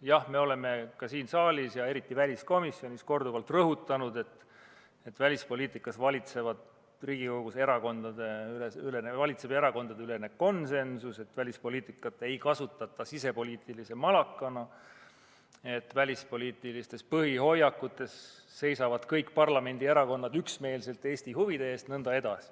jah, me oleme siin saalis ja eriti väliskomisjonis korduvalt rõhutanud, et välispoliitikas valitseb Riigikogus erakondadeülene konsensus, välispoliitikat ei kasutata sisepoliitilise malakana ja välispoliitilistes põhihoiakutes seisavad kõik parlamendierakonnad üksmeelselt Eesti huvide eest.